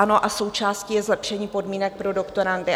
Ano, a součástí je zlepšení podmínek pro doktorandy.